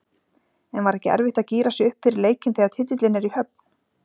En var ekki erfitt að gíra sig upp fyrir leikinn þegar titillinn er í höfn?